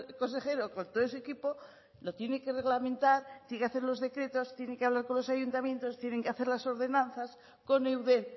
consejero con todo su equipo lo tiene que reglamentar tiene que hacer los decretos tienen que hablar con los ayuntamientos tienen que hacer las ordenanzas con eudel